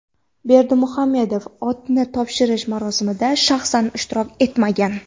Berdimuhammedov otni topshirish marosimida shaxsan ishtirok etmagan.